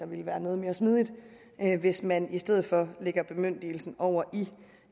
vil være noget mere smidigt hvis man i stedet for lægger bemyndigelsen over